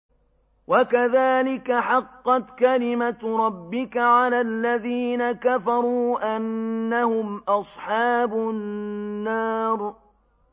وَكَذَٰلِكَ حَقَّتْ كَلِمَتُ رَبِّكَ عَلَى الَّذِينَ كَفَرُوا أَنَّهُمْ أَصْحَابُ النَّارِ